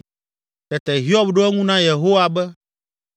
Tete Hiob ɖo eŋu na Yehowa be,